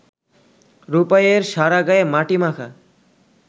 রূপাইয়ের সারা গায়ে মাটি মাখা